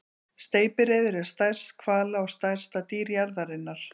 Steypireyður er stærst hvala og stærsta dýr jarðarinnar.